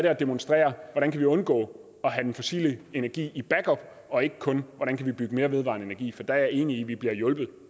at demonstrere hvordan vi kan undgå at have den fossile energi i backup og ikke kun hvordan vi kan bygge mere vedvarende energi for der er jeg enig i at vi bliver hjulpet